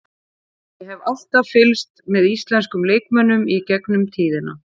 Ég hef alltaf fylgst með íslenskum leikmönnum í gegnum tíðina.